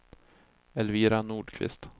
Elvira Nordqvist